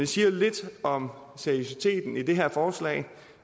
siger lidt om seriøsiteten i det her forslag